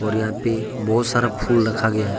और यहां पे बहुत सारा फुल रखा गया है।